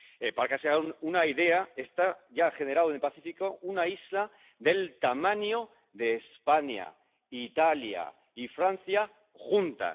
Para que se hagan una idea, esto ya ha generado en el Pacífico una isla del tamaño de España, Italia y Francia juntas.